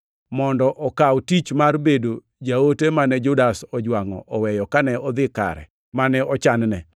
mondo okaw tich mar bedo jaote mane Judas ojwangʼo oweyo kane odhi kare mane ochanne.”